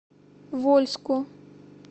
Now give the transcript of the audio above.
вольску